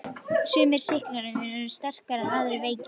Sumir sýklar eru mjög sterkir en aðrir veikir.